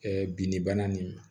binni bana ni